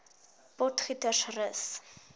potgietersrus